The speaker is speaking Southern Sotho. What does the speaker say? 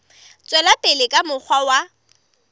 tswela pele ka mokgwa wa